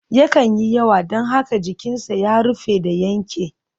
Yakan yi yawa don haka jikinsa ya rufe da yanke.